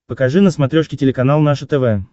покажи на смотрешке телеканал наше тв